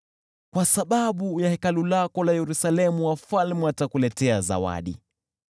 Kwa sababu ya Hekalu lako Yerusalemu wafalme watakuletea zawadi.